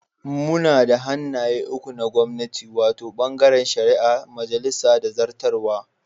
Muna da hannaye uku na gwamnati, wato, bangaren shari'a, majalisa da zartarwa.